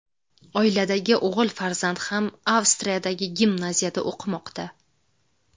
Oiladagi o‘g‘il farzand ham Avstriyadagi gimnaziyada o‘qimoqda.